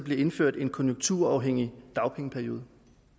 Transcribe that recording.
bliver indført en konjunkturafhængig dagpengeperiode